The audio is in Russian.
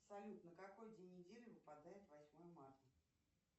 салют на какой день недели выпадает восьмое марта